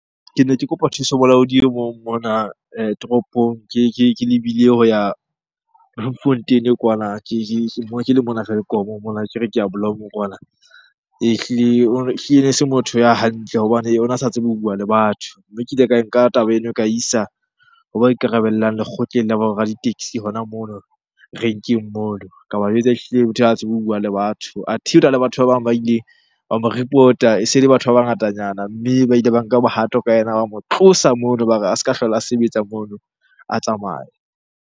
Ke ne ke kopa thuso molaodi o mong toropong ke lebile ho ya Bloemfontein-e kwana. Ke le mona Welkom mona ke re ke ya Bloem-o kwana. Hlile ehlile e se motho ya hantle hobane ona sa tsebe ho bua le batho. Mme ke ile e ka nka taba eno e ka isa hoba ikarabellang lekgotleng la bo ra di-taxi hona mono renkeng mono. Ka ba jwetsa ehlile motho ha tsebe ho bua le batho. Athe hona le batho ba bang ba ileng ba mo report-a, e se le batho ba bangatanyana. Mme ba ile ba nka bohato ka yena, ba mo tlosa mono. Ba re a se ka hlola a sebetsa mono, a tsamaye.